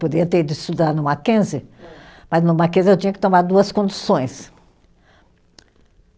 Podia ter ido estudar no Mackenzie, mas no Mackenzie eu tinha que tomar duas condições.